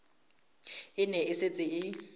e ne e setse e